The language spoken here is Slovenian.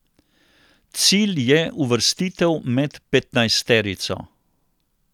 Cilj je uvrstitev med petnajsterico.